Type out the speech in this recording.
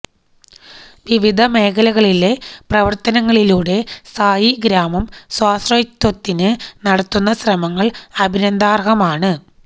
വിവിധ മേഖലകളിലെ പ്രവർത്തനങ്ങളിലൂടെ സായിഗ്രാമം സ്വാശ്രയത്വത്തിന് നടത്തുന്ന ശ്രമങ്ങൾ അഭിനന്ദനാർഹമാണ്